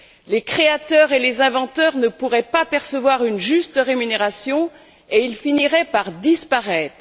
Les créateurs et les inventeurs ne pourraient pas percevoir une juste rémunération et ils finiraient par disparaître.